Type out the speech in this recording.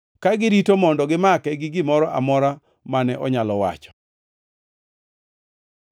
Ka girito mondo gimake gi gimoro amora mane onyalo wacho.